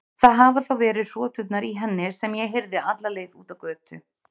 Það hafa þá verið hroturnar í henni sem ég heyrði alla leið út á götu.